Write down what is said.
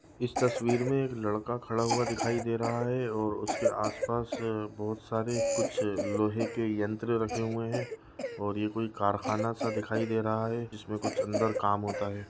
इस तस्वीर में एक लड़का खड़ा हुआ दिखाई दे रहा हैऔर उसके आस-पास बहुत सारे कुछ लोहे के यंत्र रखे हुए हैं। और यह कोई कारखाना-सा दिखाई दे रहा है जिसमे कुछ अंदर काम होता है।